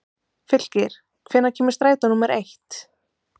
Fylkir, hvenær kemur strætó númer eitt?